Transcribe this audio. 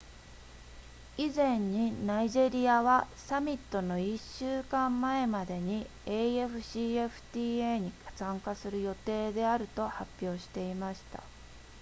以前にナイジェリアはサミットの1週間前までに afcfta に参加する予定であると発表していました